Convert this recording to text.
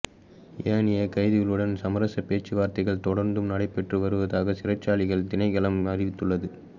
ஏனைய கைதிகளுடன் சமரசப் பேச்சுவார்த்தைகள் தொடர்ந்தும் நடைபெற்று வருவதாக சிறைச்சாலைகள் திணைக்களம் அறிவித்துள்ளது